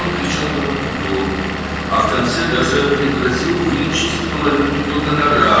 O, kifayət qədər uzun müddət qışqırdı və sonunda hətta onun qonorarının yarısını çıxacağını hədələdi.